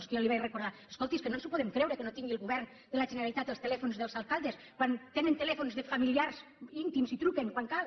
que jo li vaig recordar escolti és que no ens ho podem creure que no tingui el govern de la generalitat els telèfons dels alcaldes quan tenen telèfons de familiars íntims i hi truquen quan cal